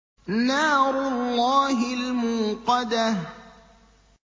نَارُ اللَّهِ الْمُوقَدَةُ